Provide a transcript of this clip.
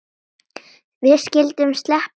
Við skyldum sleppa slíkri væmni.